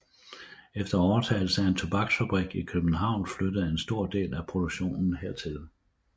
Efter overtagelse af en tobaksfabrik i København flyttede en stor del af produktionen hertil